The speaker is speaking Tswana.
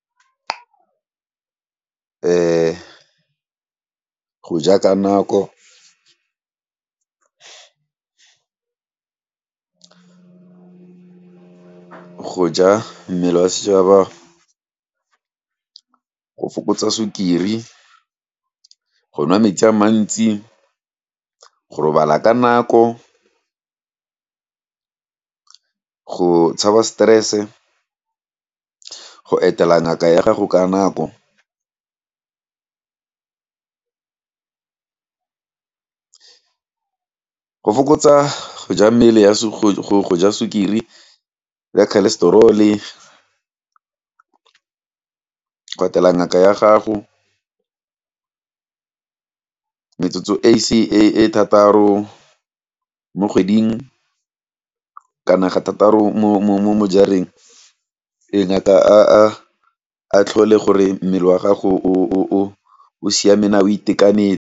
Go ja ka nako go ja mmele wa , go fokotsa sukiri, go nwa metsi a mantsi, go robala ka nako, go tshaba stress-e, go etela ngaka ya gago ka nako go fokotsa goja mmele ya sukiri, ya cholesterol-e, go etela ngaka ya gago, metsotso e thataro mo kgweding, kana ga thataro mo jareng, e nyaka a tlhole gore mmele wa gago o siameng naa o itekanetse.